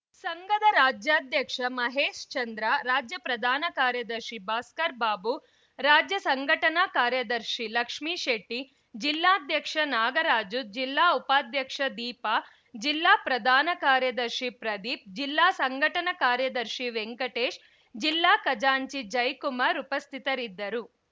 ಸಂಘದ ರಾಜ್ಯಾಧ್ಯಕ್ಷ ಮಹೇಶ್‌ಚಂದ್ರ ರಾಜ್ಯ ಪ್ರಧಾನ ಕಾರ್ಯದರ್ಶಿ ಭಾಸ್ಕರ್‌ ಬಾಬು ರಾಜ್ಯ ಸಂಘಟನಾ ಕಾರ್ಯದರ್ಶಿ ಲಕ್ಷ್ಮಿಶೆಟ್ಟಿ ಜಿಲ್ಲಾಧ್ಯಕ್ಷ ನಾಗರಾಜು ಜಿಲ್ಲಾ ಉಪಾಧ್ಯಕ್ಷ ದೀಪಾ ಜಿಲ್ಲಾ ಪ್ರಧಾನ ಕಾರ್ಯದರ್ಶಿ ಪ್ರದೀಪ್‌ ಜಿಲ್ಲಾ ಸಂಘಟನಾ ಕಾರ್ಯದರ್ಶಿ ವೆಂಕಟೇಶ್‌ ಜಿಲ್ಲಾ ಖಜಾಂಚಿ ಜಯ್‌ಕುಮಾರ್‌ ಉಪಸ್ಥಿತರಿದ್ದರು